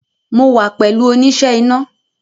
Mo wa pẹ̀lú oníṣẹ́ iná